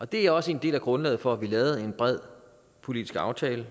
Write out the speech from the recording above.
det er også en del af grundlaget for at vi lavede en bred politisk aftale